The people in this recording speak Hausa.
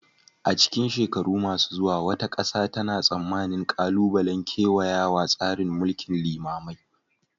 A cikin shekaru masu zuwa, wata ƙasa tana tsammanin ƙalubalen kewaya tsarin mulkin limamai